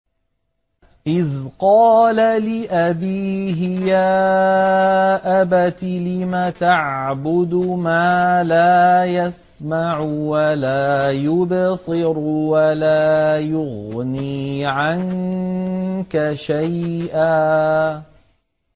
إِذْ قَالَ لِأَبِيهِ يَا أَبَتِ لِمَ تَعْبُدُ مَا لَا يَسْمَعُ وَلَا يُبْصِرُ وَلَا يُغْنِي عَنكَ شَيْئًا